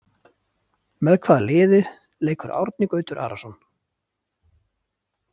Með hvaða liði leikur Árni Gautur Arason?